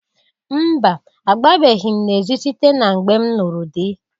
Mba! Agbabeghi m n'ezi site na mgbe m lụrụ dị.